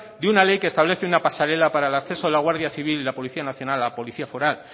de una ley que establece una pasarela para el acceso a la guardia civil y la policía nacional a policía foral